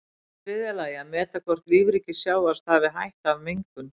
Í þriðja lagi að meta hvort lífríki sjávar stafi hætta af mengun.